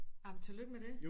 Ej men tillykke med det